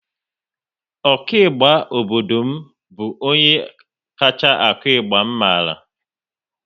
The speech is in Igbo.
Ọ ku ịgba obodo m bụ onye kacha akụ ịgba m mara